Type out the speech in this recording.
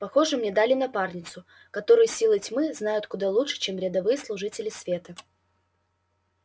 похоже мне дали напарницу которую силы тьмы знают куда лучше чем рядовые служители света